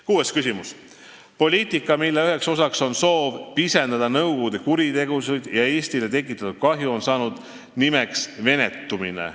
Kaheksas küsimus: "Poliitika, mille üheks osaks on soov pisendada nõukogude kuritegusid ja Eestile tekitatud kahju, on saanud nimeks venetumine.